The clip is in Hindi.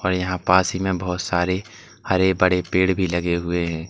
यहां पास ही में बहुत सारे हर बड़े पेड़ भी लगे हुए हैं।